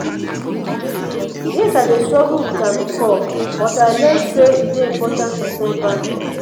yes i dey struggle with am before but i learn say e dey important to set boundaries.